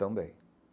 Também.